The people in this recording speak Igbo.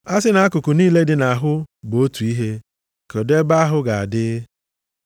A sị na akụkụ niile dị nʼahụ bụ otu ihe, kedụ ebe ahụ ga-adị?